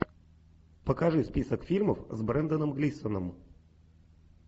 покажи список фильмов с бренданом глисоном